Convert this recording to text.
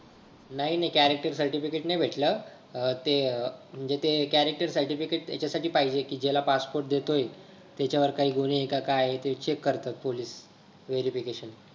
नाय नाय character certificate नाही भेटलं अं ते अ म्हणजे ते character certificate हेच्या साठी पाहिजे कि ज्याला passport देतोय त्याच्या वर काही गुन्हे हाय का हाय ते check करतात police verification